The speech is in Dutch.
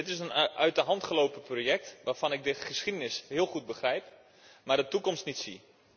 Dit is een uit de hand gelopen project waarvan ik de geschiedenis heel goed begrijp, maar de toekomst niet zie.